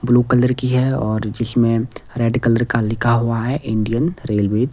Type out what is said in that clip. blue colour की है और जिसमें रेड कलर का लिखा हुआ है इंडियन रेलवे --